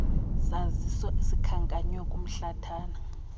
saziso sikhankanywe kumhlathana